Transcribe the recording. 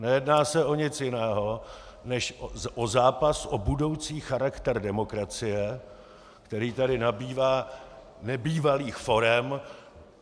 Nejedná se o nic jiného než o zápas o budoucí charakter demokracie, který tady nabývá nebývalých forem.